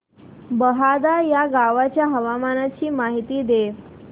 बहादा या गावाच्या हवामानाची माहिती दे